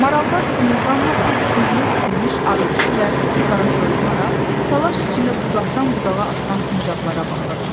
Marallar qımıldanmadan, özünü itirmiş arıquşu və qaratoyuğa, təlaş içində budaqdan budağa atılan sincablara baxırdılar.